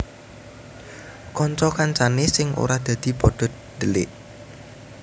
Kanca kancane sing ora dadi pada dhelik